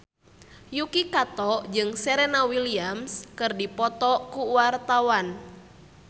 Yuki Kato jeung Serena Williams keur dipoto ku wartawan